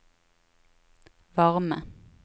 varme